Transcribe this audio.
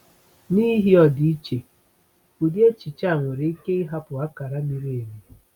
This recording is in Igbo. N’ihi ọdịiche, ụdị echiche a nwere ike ịhapụ akara miri emi.